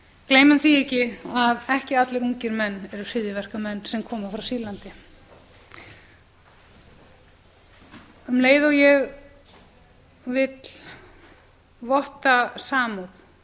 gleymum því ekki að ekki allir ungir menn eru hryðjuverkamenn sem koma frá sýrlandi um leið og ég vil votta samúð